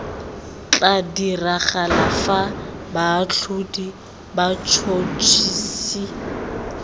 tla diragala fa baatlhodi batšhotšhisi